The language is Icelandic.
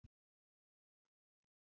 Spurningunni Af hverju er myrkur?